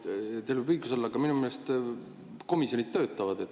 Ei noh, teil võib õigus olla, aga minu meelest komisjonid töötavad.